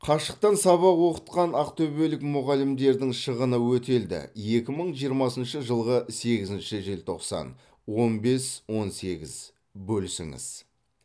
қашықтан сабақ оқытқан ақтөбелік мұғалімдердің шығыны өтелді екі мың жиырмасыншы жылғы сегізінші желтоқсан он бес он сегіз бөлісіңіз